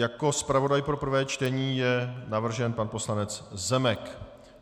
Jako zpravodaj pro prvé čtení je navržen pan poslanec Zemek.